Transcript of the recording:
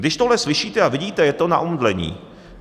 Když tohle slyšíte a vidíte, je to na omdlení.